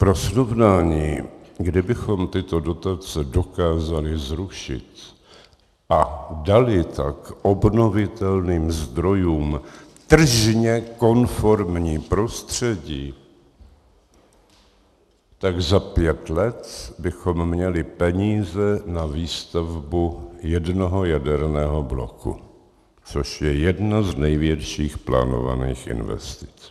Pro srovnání, kdybychom tyto dotace dokázali zrušit a dali tak obnovitelným zdrojům tržně konformní prostředí, tak za pět let bychom měli peníze na výstavbu jednoho jaderného bloku, což je jedna z největších plánovaných investic.